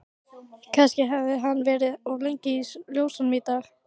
Kannski hafði hann verið of lengi í ljósunum í dag.